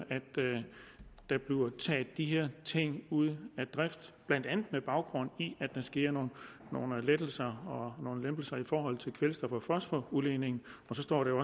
der bliver taget de her ting ud af drift blandt andet med baggrund i der sker nogle lettelser og nogle lempelser i forhold til kvælstof og fosforudledningen og så står det